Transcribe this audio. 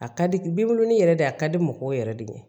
A ka di bolonin yɛrɛ de ye a ka di mɔgɔw yɛrɛ de ye